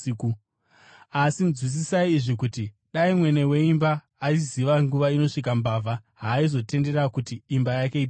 Asi nzwisisai izvi: kuti dai mwene weimba aiziva nguva inosvika mbavha, haaizotendera kuti imba yake ipazwe.